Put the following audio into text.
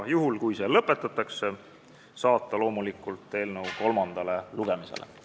Juhul kui teine lugemine lõpetatakse, on loomulikult ettepanek saata eelnõu kolmandale lugemisele.